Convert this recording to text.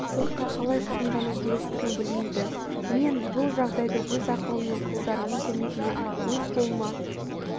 сотқа қалай шағымдану керектігін білмейді мен бұл жағдайды өз ақылым мен қолдарымның көмегімен өз қолыма